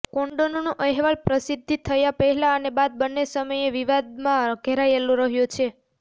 કોન્ડોનનો અહેવાલન પ્રસિદ્ધિ થયા પહેલા અને બાદ બંને સમયે વિવાદમાં ઘેરાયેલો રહ્યો છે